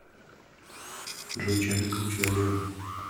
джой чем ты круче олега